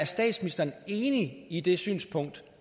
statsministeren er enig i det synspunkt